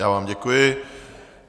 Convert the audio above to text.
Já vám děkuji.